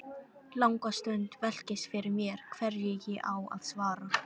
Langa stund velkist fyrir mér hverju ég á að svara.